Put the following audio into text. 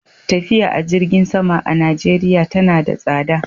Tafiya a jirgin sama a Najeriya tana da tsada.